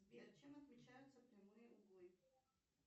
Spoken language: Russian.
сбер чем отличаются прямые углы